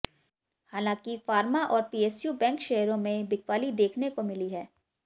हालांकि फार्मा और PSU bank शेयरों में बिकवाली देखने को मिली है